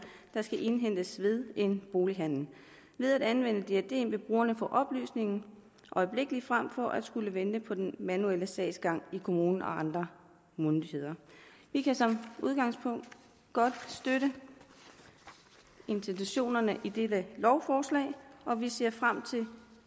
der skal indhentes ved en bolighandel ved at anvende diadem vil brugerne få oplysningen øjeblikkelig frem for at skulle vente på den manuelle sagsgang i kommunen og ved andre myndigheder vi kan som udgangspunkt godt støtte intentionerne i dette lovforslag og vi ser frem til det